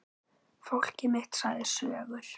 Fólkið mitt sagði sögur.